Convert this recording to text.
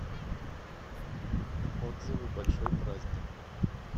отзывы большой праздник